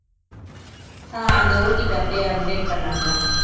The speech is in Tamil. ஆஹ் அந்த OTP அப்படியே update பண்ண அதுல